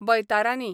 बयतारानी